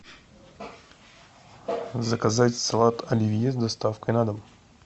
заказать салат оливье с доставкой на дом